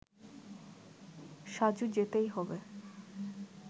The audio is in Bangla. সাজু যেতেই হবে